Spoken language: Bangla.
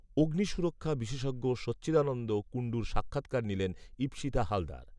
অগ্নিসুরক্ষা বিশেষজ্ঞ সচ্চিদানন্দ কুণ্ডুর সাক্ষাৎকার নিলেন ঈপ্সিতা হালদার